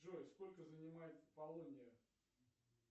джой сколько занимает полония